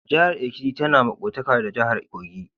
Jahar Ekiti ta na maƙwaftaka da jahar Kogi.